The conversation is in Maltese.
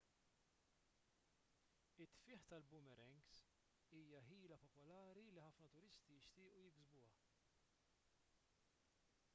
it-tfigħ tal-boomerangs hija ħila popolari li ħafna turisti jixtiequ jiksbuha